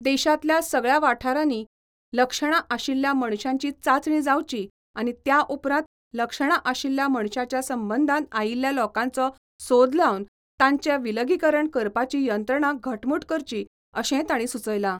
देशातल्या सगळ्या वाठारांनी लक्षणां आशिल्ल्या मनशांची चाचणीं जावची आनी त्या उपरांत लक्षणां आशिल्ल्या मनशांच्या संबंदान आयिल्ल्या लोकांचो सोद लावन, तांचे विलगीकरण करपाची यंत्रणा घटमुट करची, अशेय ताणी सुचयला.